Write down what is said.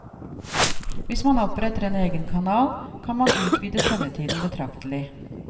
Hvis man oppretter en egen kanal, kan man utvide sendetiden betraktelig.